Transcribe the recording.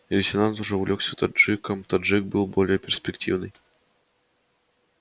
лейтенант уже увлёкся таджиком таджик был более перспективный